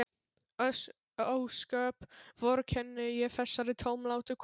Ósköp vorkenni ég þessari tómlátu konu.